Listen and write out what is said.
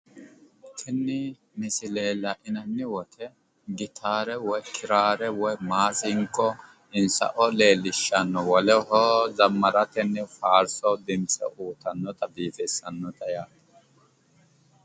tini misile la'inanni woyiite gitaare kiraare woy maasinqo insa"o leellishshanno woleho zammaratenni faarso dimtse uyiitannota woy biifissanota yaate